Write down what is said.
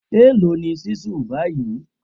Èló ni ṣísù báyìí?